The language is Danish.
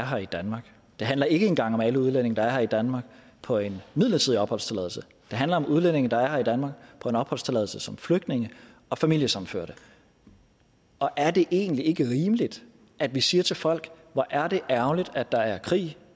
her i danmark det handler ikke engang om alle de udlændinge der er her i danmark på en midlertidig opholdstilladelse det handler om udlændinge der er her i danmark på en opholdstilladelse som flygtninge og familiesammenførte og er det egentlig ikke rimeligt at vi siger til folk hvor er det ærgerligt at der er krig